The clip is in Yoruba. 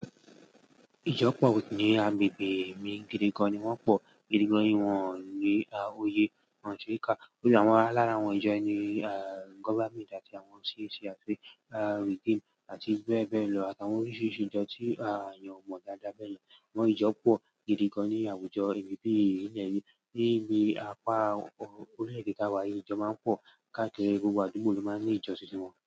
Ìjọ pọ̀ ní agbègbè mi gidi gan ni wọ́n pọ̀. Gidi gan ni wọ́n ní oyè, wọ́n sì ká. Níbi àwọn alára àwọn ìjọ ni ah government àti àwọn CAC àti ah regime àti bẹ́ẹ̀ bẹ́ẹ̀ lọ. Àtàwọn oríṣiríṣi ìjọ tí a yàn mọ̀ dáadáa bẹ́ẹ̀ lọ. Ìwọ̀n ìjọ pọ̀ gidi gan ní àwùjọ ènìyàn bí i ní èyí. Níbi apá orílẹ̀-èdè tá wá yí ìjọ máa ń pọ̀. Káàkiri gbogbo àdúgbò ló máa ń ní ìjọ títí wọn.